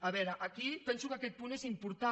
a veure aquí penso que aquest punt és important